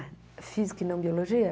Física e não biologia?